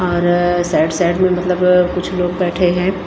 और side side में मतलब कुछ लोग बैठे हैं।